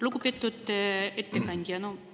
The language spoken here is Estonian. Lugupeetud ettekandja!